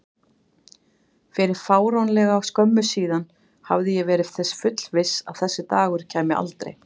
Fyrir fáránlega skömmu síðan hafði ég verið þess fullviss að þessi dagur kæmi aldrei.